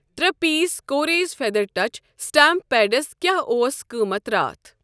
ترٛے پیٖس کوریز feather touch stamp pads کیٛاہ اوس قۭمتھ راتھ؟